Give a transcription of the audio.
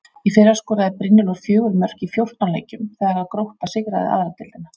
Í fyrra skoraði Brynjólfur fjögur mörk í fjórtán leikjum þegar að Grótta sigraði aðra deildina.